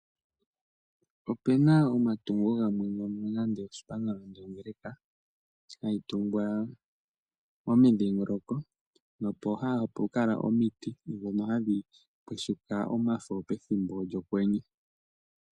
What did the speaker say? Opena omatungo gamwe ngono nande ogongeleka haga tungwa momidhingoloko nopooha ohapu kala omiti dhono hadhi pushika omafo pethimbo lyokwenye.